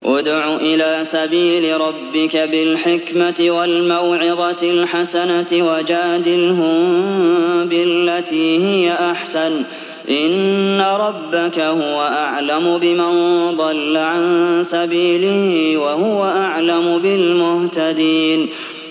ادْعُ إِلَىٰ سَبِيلِ رَبِّكَ بِالْحِكْمَةِ وَالْمَوْعِظَةِ الْحَسَنَةِ ۖ وَجَادِلْهُم بِالَّتِي هِيَ أَحْسَنُ ۚ إِنَّ رَبَّكَ هُوَ أَعْلَمُ بِمَن ضَلَّ عَن سَبِيلِهِ ۖ وَهُوَ أَعْلَمُ بِالْمُهْتَدِينَ